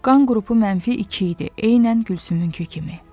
Qan qrupu mənfi iki idi, eynən Gülsümünki kimi.